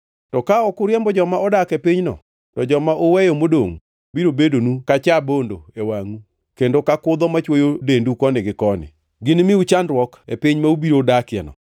“ ‘To ka ok uriembo joma odak e pinyno, to joma uweyo modongʼ biro bedonu ka cha bondo e wangʼu kendo ka kudho machwoyo dendu koni gi koni. Ginimiu chandruok e piny ma ubiro dakieno.